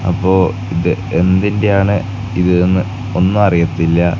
അപ്പോ ഇത് എന്തിൻറെയാണ് ഇത് എന്ന് ഒന്നും അറിയത്തില്ല.